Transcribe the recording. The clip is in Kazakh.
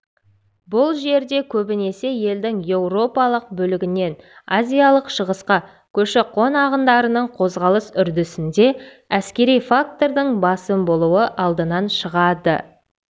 бұл жерде көбінесе елдің еуропалық бөлігінен азиялық шығысқа көші-қон ағындарының қозғалыс үрдісінде әскери фактордың басым болуы алдынан шығады